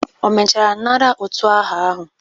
O mechara nara utu aha ahụ?